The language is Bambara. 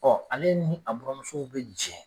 ale ni buranmusow bi jɛ